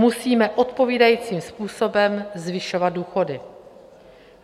Musíme odpovídajícím způsobem zvyšovat důchody.